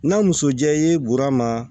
N'a muso jɛ ye burama